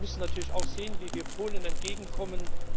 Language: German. Wir müssen natürlich auch sehen, wie wir Polen entgegenkommen.